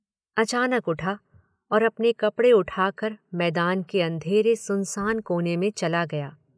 अचानक उठा और अपने कपड़े उठाकर मैदान के अंधेरे सुनसान कोने में चला गया।